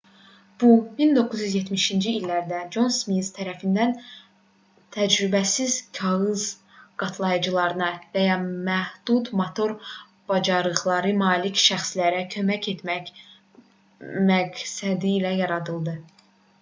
bu 1970-ci illərdə con smit tərəfindən təcrübəsiz kağız qatlayıcılarına və ya məhdud motor bacarıqlarına malik şəxslərə kömək etmək məqsədilə yaradıldı